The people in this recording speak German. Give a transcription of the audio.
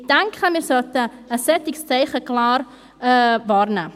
Ich denke, ein solches Zeichen wollten wir klar wahrnehmen.